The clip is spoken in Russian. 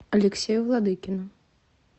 алексею владыкину